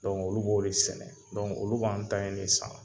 olu b'o de sɛnɛ olu b'an ta in de san